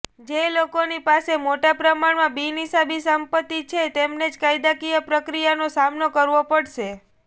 જે લોકોની પાસે મોટા પ્રમાણમાં બિનહિસાબી સંપત્તિ છે તેમને જ કાયદાકીય પ્રક્રિયાનો સામનો કરવો પડશે